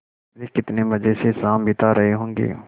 वे कितने मज़े से शाम बिता रहे होंगे